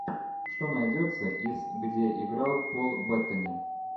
что найдется из где играл пол беттани